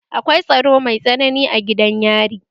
Akwai tsaro mai tsanani a gidan yari